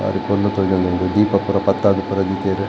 ಬಾರಿ ಪೊರ್ಲು ತೋಜೊಂದುಂಡು ದೀಪ ಪೂರ ಪತ್ತಾದ್ ಪೂರ ದೀತೆರ್.